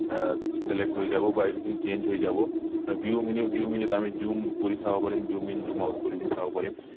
আহ select হৈ যাব বা এইখিনি change হৈ যাব view menu view menu ত আমি zoom কৰি চাব পাৰিম zoom in zoom out কৰি পিনি চাব পাৰিম